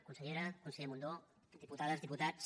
consellera conseller mundó diputades diputats